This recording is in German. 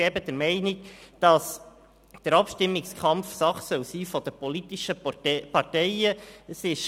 Ich bin der Meinung, dass der Abstimmungskampf eine Sache der politischen Parteien sein soll.